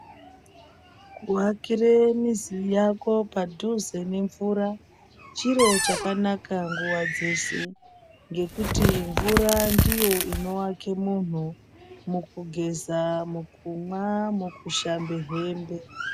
Ku akire mizi yako padhuze ne mvura chiro chakanaka nguva dzese ngekuti mvura ndiyo inowake munhu muku geza mu kumwa muku shambe hembe.